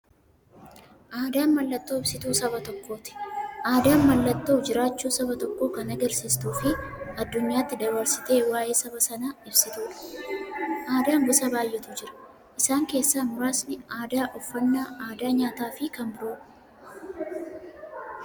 Aadaan mallattoo ibsituu saba tokkooti. Aadaan mallattoo jiraachuu saba tokkoo kan agarsiistufi addunyyaatti dabarsitee waa'ee saba sanaa ibsituudha. Aadaan gosa baay'eetu jira. Isaan keessaa muraasni aadaa, uffannaa aadaa nyaataafi kan biroo.